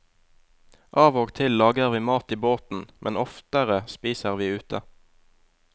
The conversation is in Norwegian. Av og til lager vi mat i båten, men oftere spiser vi ute.